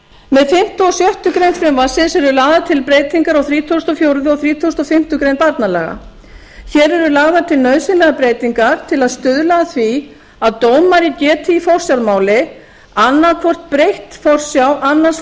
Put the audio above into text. með fimmta og sjöttu greinar frumvarpsins eru lagðar til breytingar á þrítugasta og fjórða og þrítugasta og fimmtu grein barnalaga hér eru lagðar til nauðsynlegar breytingar til að stuðla að því að dómari geti í forsjármáli annað hvort breytt forsjá annars